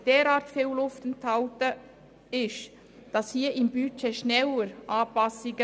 Wenn in einem Budget derart viel Luft enthalten ist, sollte dies schneller geschehen.